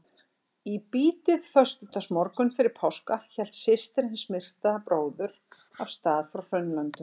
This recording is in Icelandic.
Í bítið föstudagsmorgunn fyrir páska hélt systir hins myrta bróður af stað frá Hraunlöndum.